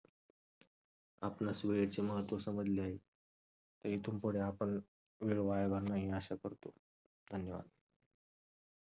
आपणास वेळेचे महत्त्व समजले आहे. तर इथून पुढे आपण वेळ वाया घालवणार नाही ही आशा करतो. धन्यवाद.